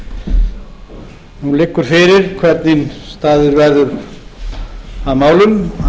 forseti nú liggur fyrir hvernig staðið verður að málum